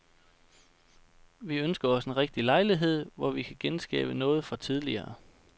Vi ønsker os en rigtig lejlighed, hvor vi kan genskabe noget fra tidligere.